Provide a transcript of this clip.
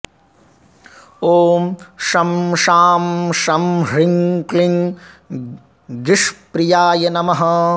ॐ शं शां षं ह्रीं क्लीं गीष्प्रियाय नमः